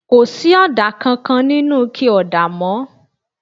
Kò sí ọ̀dà kankan nínú ike ọ̀dà mọ́